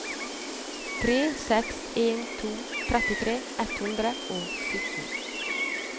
tre seks en to trettitre ett hundre og sytten